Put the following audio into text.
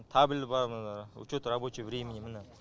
табель бар міне учет рабочего времени міне